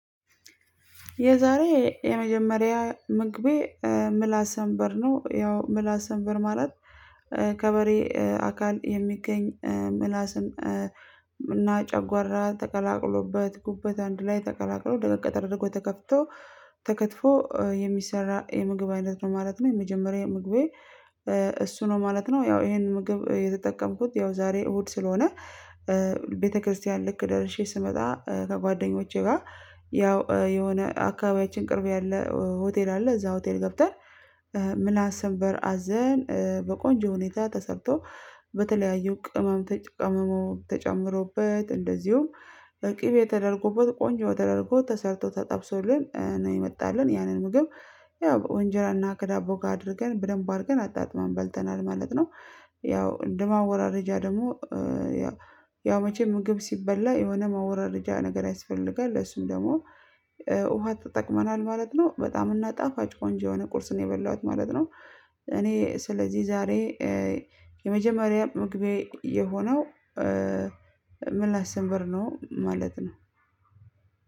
የዛሬ የመጀመሪያ ምግቤ ምላስ ሰንበር ነው ያው ምላስ ሰንበር ማለት ከበሬ አካል የሚገኝ ምላስን እና ጨጓራ ተቀላቅሎበት ጉበት አንድ ላይ ተቀላቅሎ ደረቅ ተደርጎ ተከፍቶ ተከትፎ የሚሰራ የምግብ አይነት ነው ማለት ነው። የመጀመሪያ ምግቤ እሱ ነው ማለት ነው። ያው ይሄንን ምግብ የተጠቀምኩት ያው ዛሬ እሁድ ስለሆነ። ቤተክርስቲያን ልክ ደርሼ ስመጣ ከጓደኞቼ ጋር። ያው የሆነ አካባቢያችን ቅርብ ያለ ሆቴል አለ እዛ ሆቴል ገብተን። ምላስ ሰንበር አዘን በቆንጆ ሁኔታ ተሰጥቶ። በተለያዩ ቅመም ተቀምሞ ተጨምሮበት እንደዚሁም ቅቤ ተደርጎበት ቆንጆ ተደርጎ ተሰርቶ ተጠብሶልን ነው የመጣልን ያንን ምግብ። ያው በእንጀራና ከዳቦ ጋር አድርገን በደንብ አድርገን አጣጥመን በልተናል ማለት ነው። ያው እንደማወራረጃ ደግሞ። ያው መቼም ምግብ ሲበላ የሆነ ማወራረጃ ነገር ያስፈልግም ለሱም ደግሞ ውሃ ተጠቅመናል ማለት ነው። በጣም እና ጣፋጭ ቆንጆ የሆነ ቁርስን የበላኋት ማለት ነው። እኔ ስለዚህ ዛሬ የዛሬ የመጀመሪያ ምግቤ ምላስ ሰንበር ነው ያው። ምላስ ሰንበር ማለት